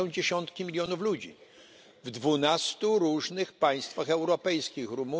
To są dziesiątki milionów ludzi w dwunastu różnych państwach europejskich, takich jak np.